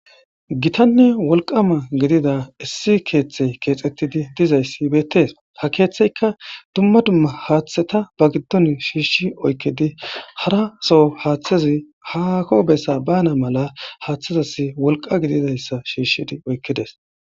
Gitanne wolqama gidida issi keeththey keexettidi dizayssi beettees ha keeththeyka dumma dumma haaththeta ba giddon shiishshi oykkidi haraso haaththezi hako bessa bana mala haaththezas wolqa gididayssa shiishshidi oykkides.